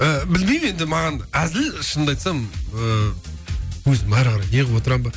ііі білмеймін енді маған әзіл шынымды айтсам ыыы өзім ары қарай не қылып отырамын ба